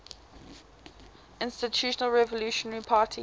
institutional revolutionary party